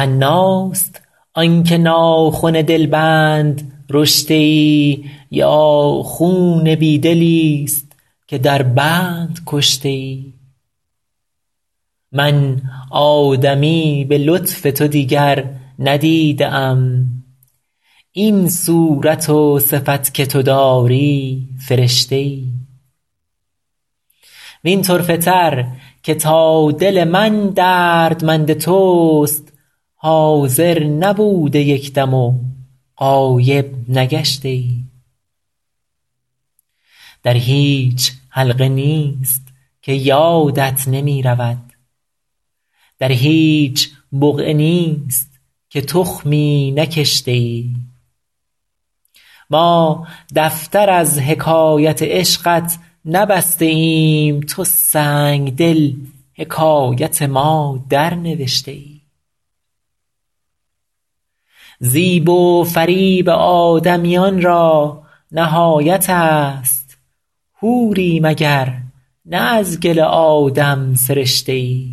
حناست آن که ناخن دلبند رشته ای یا خون بی دلیست که در بند کشته ای من آدمی به لطف تو دیگر ندیده ام این صورت و صفت که تو داری فرشته ای وین طرفه تر که تا دل من دردمند توست حاضر نبوده یک دم و غایب نگشته ای در هیچ حلقه نیست که یادت نمی رود در هیچ بقعه نیست که تخمی نکشته ای ما دفتر از حکایت عشقت نبسته ایم تو سنگدل حکایت ما درنوشته ای زیب و فریب آدمیان را نهایت است حوری مگر نه از گل آدم سرشته ای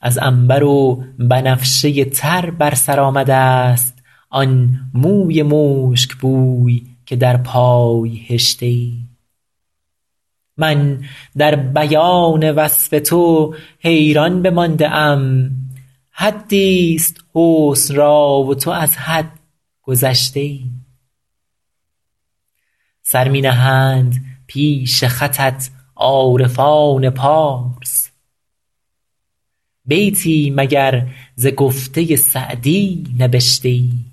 از عنبر و بنفشه تر بر سر آمده ست آن موی مشکبوی که در پای هشته ای من در بیان وصف تو حیران بمانده ام حدیست حسن را و تو از حد گذشته ای سر می نهند پیش خطت عارفان پارس بیتی مگر ز گفته سعدی نبشته ای